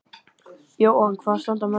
Jóhann: Og hvar standa menn núna?